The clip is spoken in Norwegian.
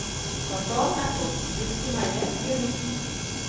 Safran er topp, gurkemeie gjør nytten.